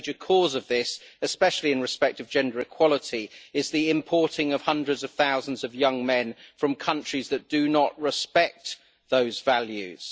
A major cause of this, especially in respect of gender equality, is the importing of hundreds of thousands of young men from countries that do not respect those values.